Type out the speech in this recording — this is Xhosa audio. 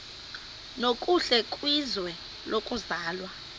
nokuhle kwizwe lokuzalwa